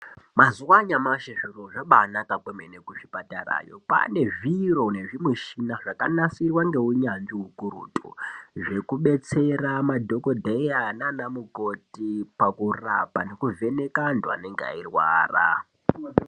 Mazuva anyamashi zviro zvabanaka yambo kuzvipatarayo ngekuti kwane mishina yakanasirwa ngeunyanzvi izvo zvinoshandiswa pakudetsera madhokodheya nanamukoti pakurapa nekuvheneka anthu anenge eirwara.